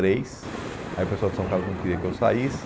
três. Aí o pessoal de São Carlos não queria que eu saísse.